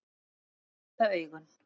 Svo voru það augun.